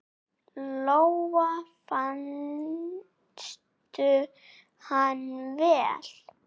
Lóa: Fannstu hann vel?